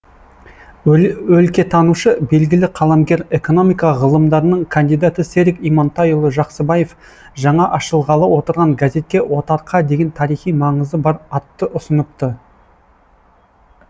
өлкетанушы белгілі қаламгер экономика ғылымдарының кандидаты серік имантайұлы жақсыбаев жаңа ашылғалы отырған газетке отарқа деген тарихи маңызы бар атты ұсыныпты